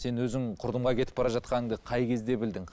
сен өзің құрдымға кетіп бара жатқаныңды қай кезде білдің